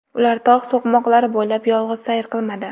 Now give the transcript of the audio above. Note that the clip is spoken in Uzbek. Ular tog‘ so‘qmoqlari bo‘ylab yolg‘iz sayr qilmadi.